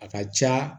A ka ca